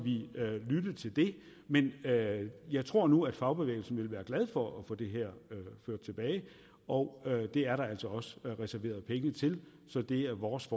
lytte til det men jeg tror nu at fagbevægelsen vil være glad for at få det her ført tilbage og det er der altså også reserveret penge til så det er vores